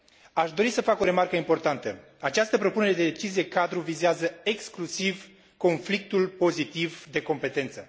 Aș dori să fac o remarcă importantă această propunere de decizie cadru vizează exclusiv conflictul pozitiv de competență.